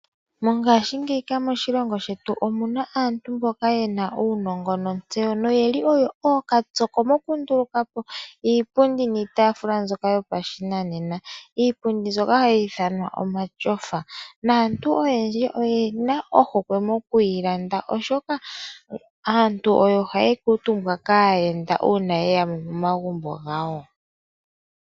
Mongaashi ngeyi moshilongo shetu omuna aantu mboka yena uunongo no tseyo , no yili oyo ookatsoko mokundulu kapo iipundi niitaafula mbyoka to pashinanena. Iipundi mbyoka hayi ithanwa omatyofa. Naantu oyendji oyena ohukwe mokuyi landa, oshoka oyo hayi kuutumbwa kaayenda uuna yeya moma gumbo gawo.